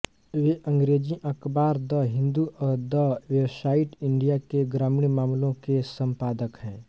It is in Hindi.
वे अंग्रेजी अखबार द हिंदू और द वेवसाइट इंडिया के ग्रामीण मामलों के संपादक हैं